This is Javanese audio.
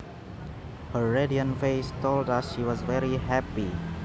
Her radiant face told us she was very happy